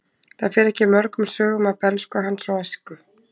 Það fer ekki mörgum sögum af bernsku hans og æsku.